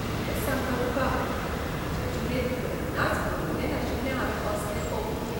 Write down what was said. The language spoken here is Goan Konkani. खरेंच सांगता तुका, म्हाजे जिणेंत केन्नाच पळयलें नाशिल्लें हावें असलें अप्रूप.